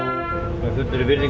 með fullri virðingu